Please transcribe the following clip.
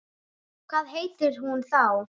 Hvað heitir hún þá?